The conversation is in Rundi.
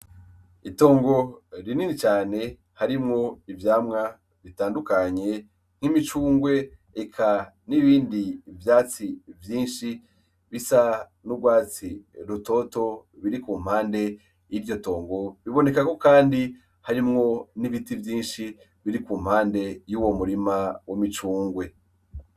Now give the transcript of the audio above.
Itongo rinini cane harimwo ivyamwa ritandukanye nk'imicungwe eka n'ibindi vyatsi vyinshi bisa n'urwatsi rutoto biri ku mpande y'iryo tongo bibonekako, kandi harimwo n'ibiti vyinshi biri ku mpande ou wo murima wo micungwe.